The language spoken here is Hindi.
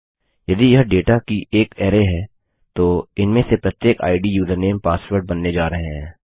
यदि यह डेटा की एक अरै है तो इनमें से प्रत्येक आईडी यूजरनेम पासवर्ड बनने जा रहे हैं